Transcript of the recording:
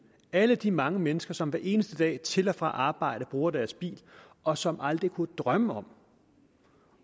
alle de mange mennesker som hver eneste dag til og fra arbejde bruger deres bil og som aldrig kunne drømme om